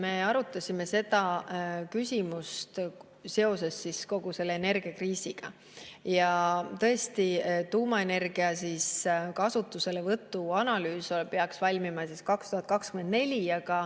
Me arutasime seda seoses kogu selle energiakriisiga ja tõesti, tuumaenergia kasutuselevõtu analüüs peaks valmima 2024.